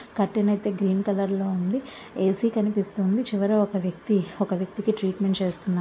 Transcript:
Curtain అయితే green colour లో ఉంది. ఎ_సి కనిపిస్తుంది చివర ఒక వ్యక్తికి ట్రీట్మెంట్ చేస్తున్నారు.